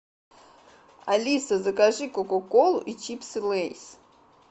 алиса закажи кока колу и чипсы лейс